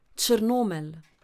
Črnomelj.